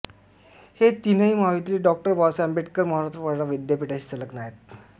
हे तिनही महाविद्यालये डॉ बाबासाहेब आंबेडकर मराठवाडा विद्यापीठशी संलग्न आहेत